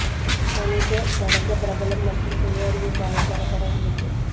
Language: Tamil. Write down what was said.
மனித கடந்த பிரபலம் மற்றும் சுய அறிவு பாதை தரப்பட உள்ளது